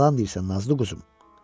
Yalan deyirsən, nazlı quzum.